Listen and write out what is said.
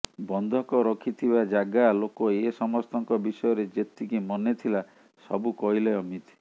ବନ୍ଧକ ରଖିଥିବା ଜାଗା ଲୋକ ଏ ସମସ୍ତଙ୍କ ବିଷୟରେ ଯେତିକି ମନେଥିଲା ସବୁ କହିଲେ ଅମିତ୍